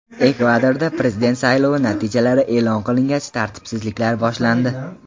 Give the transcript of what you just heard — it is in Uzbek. Ekvadorda prezident saylovi natijalari e’lon qilingach, tartibsizliklar boshlandi .